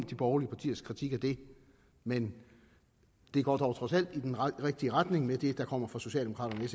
de borgerliges kritik af det men det går dog trods alt i den rigtige retning med det der kommer fra socialdemokraterne og